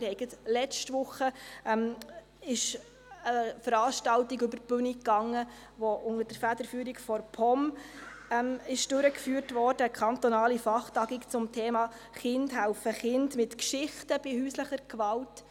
Gerade letzte Woche ging eine Veranstaltung über die Bühne, die unter der Federführung der POM durchgeführt wurde – eine kantonale Fachtagung zum Thema «Kinder helfen Kindern mit Geschichten bei häuslicher Gewalt».